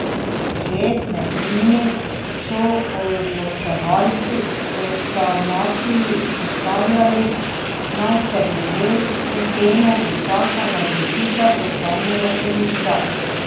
Že med njimi so odločevalci o sanaciji izpostavljali, naj se glede te teme počaka na odločitev ustavnega sodišča.